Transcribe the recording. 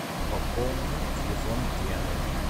пополни телефон гены